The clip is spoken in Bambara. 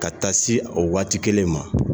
Ka taa se o waati kelen ma